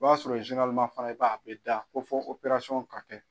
O b'a sɔrɔ fana i b'a ye a bɛ da ko fɔ operasɔn ka kɛ.